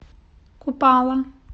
купало